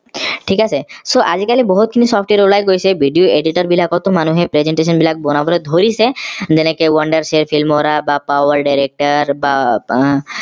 থিক আছে so আজিকালি বহুত খিনি software উলাই গৈছে video editor বিলাকতো মানুহে presentation বিলাক বনাব ধৰিছে যেনেকে filmora বা power director বা আহ